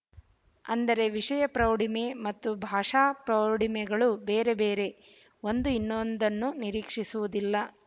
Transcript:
ಅಂದರೆ ವಿಷಯ ಪ್ರೌಢಿಮೆ ಮತ್ತು ಭಾಷಾ ಪ್ರೌಢಿಮೆಗಳು ಬೇರೆಬೇರೆ ಒಂದು ಇನ್ನೊಂದನ್ನು ನಿರೀಕ್ಶಿಸುವುದಿಲ್ಲ